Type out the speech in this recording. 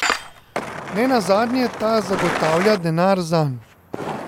Nenazadnje ta zagotavlja denar zanj.